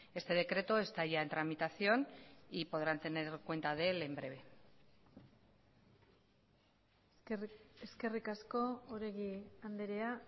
este decreto está ya en tramitación y podrán tener cuenta de él en breve eskerrik asko oregi andrea